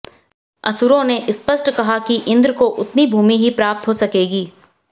असुरों ने स्पष्ट कहा कि इंद्र को उतनी भूमि ही प्राप्त हो सकेगी